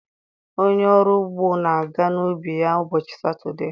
Onye ọrụ ugbo na-aga n'ubi ya na ụbọchị Satọde.